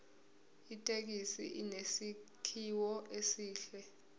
ithekisi inesakhiwo esihle